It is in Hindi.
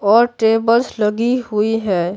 और टेबल्स लगी हुई है।